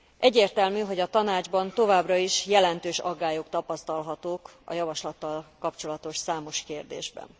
Egyértelmű, hogy a Tanácsban továbbra is jelentős aggályok tapasztalhatók a javaslattal kapcsolatos számos kérdésben.